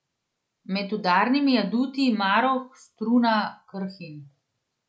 Med udarnimi aduti Maroh, Struna, Krhin ...